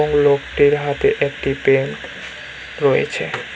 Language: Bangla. এবং লোকটির হাতে একটি পেন রয়েছে।